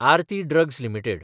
Aarti drugs limited